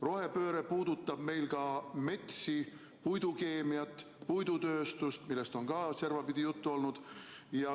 Rohepööre puudutab meil ka metsi, puidukeemiat, puidutööstust, millest on servapidi juttu olnud.